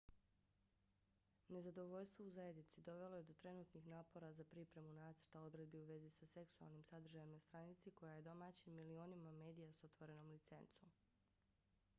nezadovoljstvo u zajednici dovelo je do trenutnih napora za pripremu nacrta odredbi u vezi sa seksualnim sadržajem na stranici koja je domaćin milionima medija s otvorenom licencom